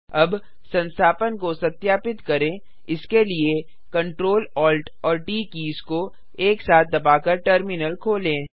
अब संस्थापन को सत्यापित करें इसके लिए Ctrl Alt और ट कीज़ को एक साथ दबाकर टर्मिनल खोलें